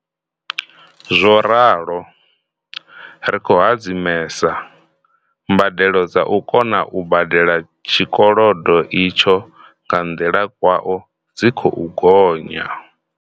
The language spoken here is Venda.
Zwo ralo, ri khou hadzimesa, mbadelo dza u kona u badela tshikolodo itsho nga nḓila kwao dzi khou gonya.